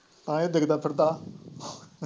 ਐ ਹੀ ਡਿੱਗਦਾ ਫਿਰਦਾ।